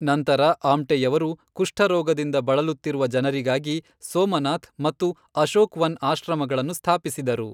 ನಂತರ ಆಮ್ಟೆಯವರು ಕುಷ್ಠರೋಗದಿಂದ ಬಳಲುತ್ತಿರುವ ಜನರಿಗಾಗಿ "ಸೋಮನಾಥ್" ಮತ್ತು "ಅಶೋಕ್ವನ್" ಆಶ್ರಮಗಳನ್ನು ಸ್ಥಾಪಿಸಿದರು.